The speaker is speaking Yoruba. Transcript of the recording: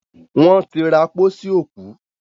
won tí ra pósí òkú.